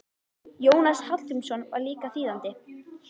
Jónas Hallgrímsson var líka þýðandi.